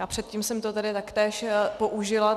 A předtím jsem to tady taktéž použila.